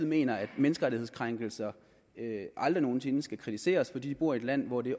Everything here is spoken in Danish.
mener at menneskerettighedskrænkelserne aldrig nogen sinde skal kritiseres fordi de bor i et land hvor det